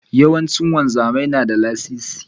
Yawanci wanzami na da lasisi.